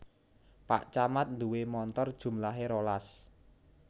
Pak camat nduwe montor jumlahe rolas